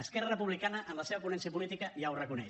esquerra republicana en la seva ponència política ja ho reconeix